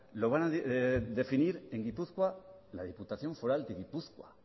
lo van a definir en gipuzkoa la diputación foral de gipuzkoa